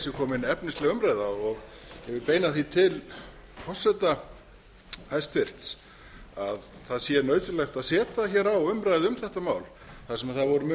sé komin efnisleg umræða og ég vil beina því til hæstvirts forseta að það sé nauðsynlegt að setja á umræðu um þetta mál þar sem það voru mun